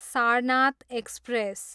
Sarnath express